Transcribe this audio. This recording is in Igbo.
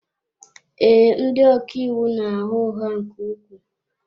Ee, ndị ọka iwu na-agha ụgha nke ukwuu.